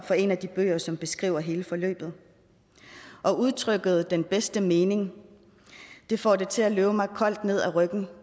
på en af de bøger som beskriver hele forløbet og udtrykket den bedste mening får det til at løbe mig koldt ned ad ryggen